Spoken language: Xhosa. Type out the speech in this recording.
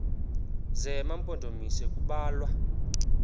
zema mpondomise kubalwa